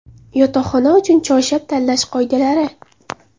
Yotoqxona uchun choyshab tanlash qoidalari.